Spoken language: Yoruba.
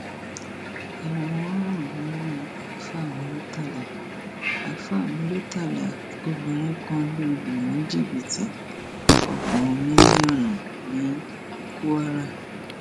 ẹwọn ń rùn nímú àáfà muritàlá àáfà muritàlá ó obìnrin kan lọ lù ní jìbìtì ọgbọn mílíọnù ní kwara